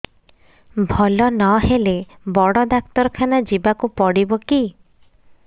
ଭଲ ନହେଲେ ବଡ ଡାକ୍ତର ଖାନା ଯିବା କୁ ପଡିବକି